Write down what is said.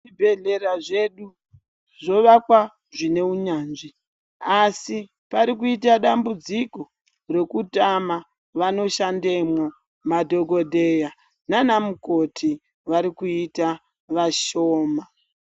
Zvibhedhlera zvedu zvovakwa zvine unyanzvi. Asi parikuita dambudziko rekutama vanoshandemwo madhogodheya nana mukoti varikuita vashoma.